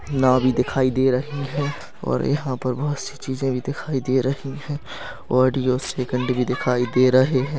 नाँव भी दिखाई दे रही है और यहाँ पर बहोत सी चीजे भी दिखाई दे रही है ऑडियो सेकंड भी दिखाई दे रहे है।